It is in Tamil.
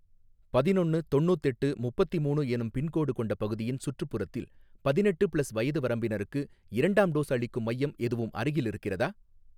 பதினொன்னு தொண்ணூத்தெட்டு முப்பத்திமூணு எனும் பின்கோடு கொண்ட பகுதியின் சுற்றுப்புறத்தில் பதினெட்டு ப்ளஸ் வயது வரம்பினருக்கு இரண்டாம் டோஸ் அளிக்கும் மையம் எதுவும் அருகில் இருக்கிறதா?